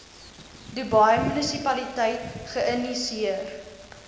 dubai munisipaliteit geïnisieer